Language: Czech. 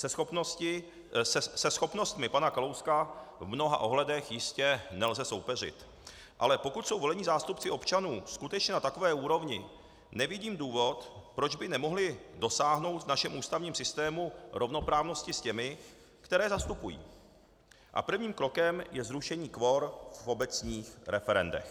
Se schopnostmi pana Kalouska v mnoha ohledech jistě nelze soupeřit, ale pokud jsou volení zástupci občanů skutečně na takové úrovni, nevidím důvod, proč by nemohli dosáhnout v našem ústavním systému rovnoprávnosti s těmi, které zastupují, a prvním krokem je zrušení kvor v obecních referendech.